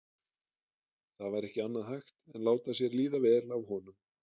Það var ekki annað hægt en láta sér líða vel af honum.